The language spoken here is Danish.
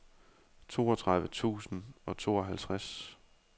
toogtredive tusind og tooghalvtreds